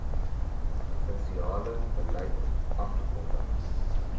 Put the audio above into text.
provinsiale beleid afgekondig